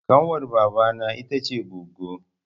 Ƙanwar baba na ita ce goggo